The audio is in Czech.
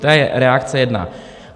To je reakce jedna.